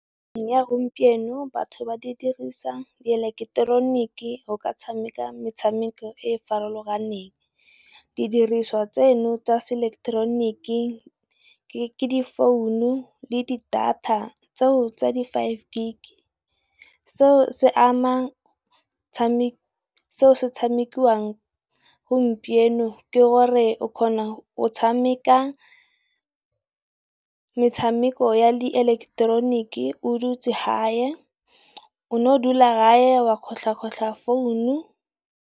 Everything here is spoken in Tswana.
Ya gompieno batho ba di dirisa di eleketeroniki go ka tshameka metshameko e e farologaneng. Didiriswa tseno tsa se eleketeroniki ke di founu le di data tseo tsa di Five Gig. Seo se ama seo se tshamekiwang gompieno ke gore o kgona go tshameka metshameko ya le eleketeroniki o dutse haye, o no o dula haye wa kgotlha kgotlha founu.